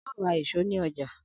Ao ra ìṣó ni oja.